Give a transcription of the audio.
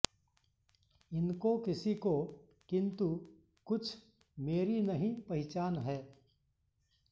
इनको किसी को किन्तु कुछ मेरी नहीं पहिचान है